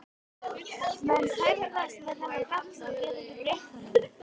Menn fæðast með þennan galla og geta ekki breytt honum.